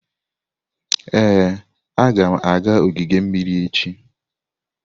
Ee, agam aga ogige mmiri echi.